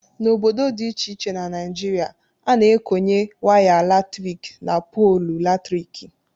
N' ọbọdọ dị ịche ịche na naịjịrịa a na- ekọnye waya latrịkị n' pọọlụ latrịkị.